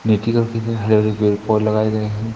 हरे हरे पेड़ लगाए गए है।